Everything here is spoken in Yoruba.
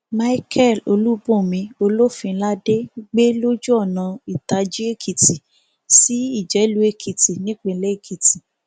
micheal olùbùnmi olófinládé gbé lójú ọnà ìtàjì èkìtì sí ìjẹlù èkìtì nípilẹ èkìtì